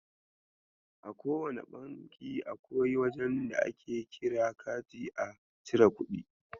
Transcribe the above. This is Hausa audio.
A kowane banki akwai wajen da ake kira kati a chiri kuɗi.